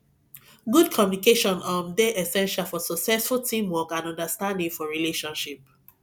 good communication um dey essential for successful teamwork and understanding for relationship